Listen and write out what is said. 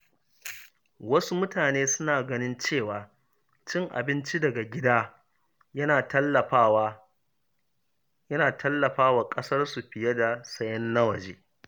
Wasu mutane suna ganin cewa cin abinci daga gida yana tallafa wa ƙasarsu fiye da sayen na waje.